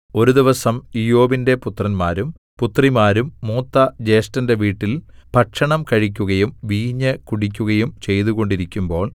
ഒരു ദിവസം ഇയ്യോബിന്റെ പുത്രന്മാരും പുത്രിമാരും മൂത്ത ജ്യേഷ്ഠന്റെ വീട്ടിൽ ഭക്ഷണം കഴിക്കുകയും വീഞ്ഞ് കുടിക്കുകയും ചെയ്തുകൊണ്ടിരിക്കുമ്പോൾ